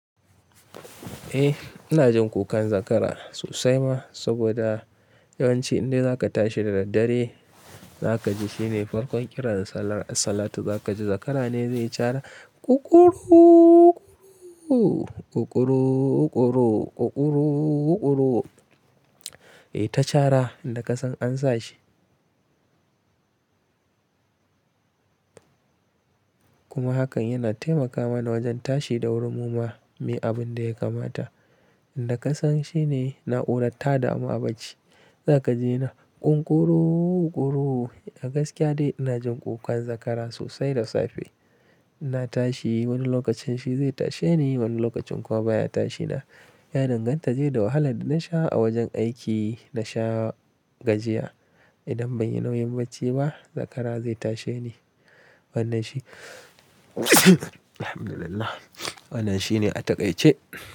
Eh, ina jin kukan zakara sosai ma, saboda yawanci indai za ka tashi da daddare, za ka ji shine farkon ƙiran sallar, a salatu za ka ji zakara ne zai yi cara, ƙuƙuru-ƙuru, ƙuƙuru-ƙuru, ƙuƙuru-ƙuru. Yayita cara inda ka san an sa shi. Kuma hakan yana taimaka mana wajen tashi da wuri muma. Muyi abin da ya kamata, inda ka san shine na'urar tadamu a bacci. Za ka ji yana ƙuƙuru-ƙuru. A gaskiya dai ina jin ƙukan zakara sosai da safe. Ina tashi wani lokacin shi zai tashe ni, wani lokacin kuwa baya tashi na. Ya danganta dai da wahalar da na sha a wajen aiki. Na sha gajiya. Idan ban yi nauyin bacci ba, zakara zai tashe ni. Wannan shi, Alhamdulillah, wannan shi ne a taƙaice.